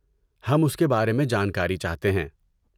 ہم اس کے بارے میں جانکاری چاہتے ہیں۔